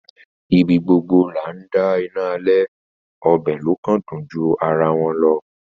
Ibi gbogbo là ńdá iná alẹ‌, ọbẹ‌ ló kàn dùn ju ara wọn lọ.